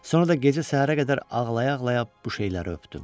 Sonra da gecə səhərə qədər ağlaya-ağlaya bu şeyləri öpdüm.